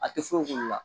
A tɛ foyi k'u la